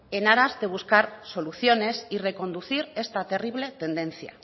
en aras de buscar soluciones y reconducir esta terrible tendencia